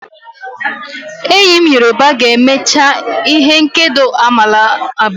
Enyi m yoruba ga-emecha ihe nkedo amala abuo.